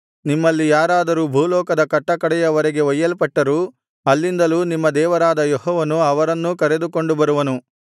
ನಿಮ್ಮಲ್ಲಿ ಯಾರಾದರೂ ಭೂಲೋಕದ ಕಟ್ಟಕಡೆಯವರೆಗೆ ಒಯ್ಯಲ್ಪಟ್ಟರೂ ಅಲ್ಲಿಂದಲೂ ನಿಮ್ಮ ದೇವರಾದ ಯೆಹೋವನು ಅವರನ್ನೂ ಕರೆದುಕೊಂಡು ಬರುವನು